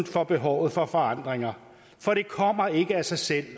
for behovet for forandringer for det kommer ikke af sig selv